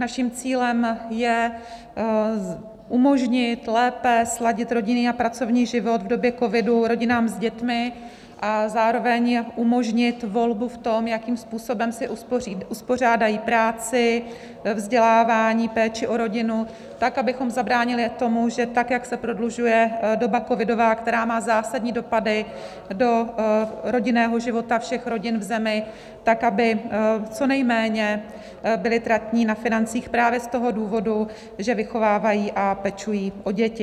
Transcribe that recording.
Naším cílem je umožnit lépe sladit rodinný a pracovní život v době covidu rodinám s dětmi a zároveň umožnit volbu v tom, jakým způsobem si uspořádají práci, vzdělávání, péči o rodinu, tak abychom zabránili tomu, že tak jak se prodlužuje doba covidová, která má zásadní dopady do rodinného života všech rodin v zemi, tak aby co nejméně byli tratní na financích právě z toho důvodu, že vychovávají a pečují o děti.